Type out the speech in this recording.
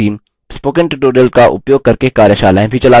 spoken tutorials का उपयोग करके कार्यशालाएँ भी चलाती है